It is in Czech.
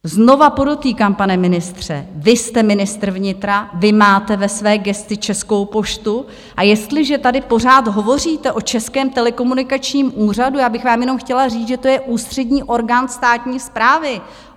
Znovu podotýkám, pane ministře, vy jste ministr vnitra, vy máte ve své gesci Českou poštu, a jestliže tady pořád hovoříte o Českém telekomunikačním úřadu, já bych vám jenom chtěla říct, že to je ústřední orgán státní správy.